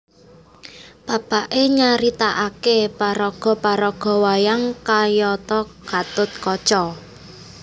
Bapaké nyaritakaké paraga paraga wayang kayata Gatot Kaca